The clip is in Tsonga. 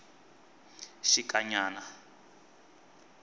xikanyana